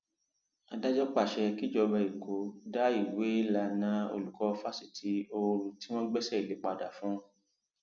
adájọ pàṣẹ kíjọba èkó dá ìwéélànnà olùkọ fásitì ooru tí wọn gbéṣẹ lé padà fún un